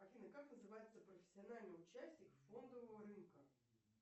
афина как называется профессиональный участник фондового рынка